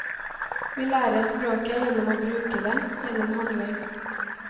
Vi lærer språket gjennom å bruke det, gjennom handling.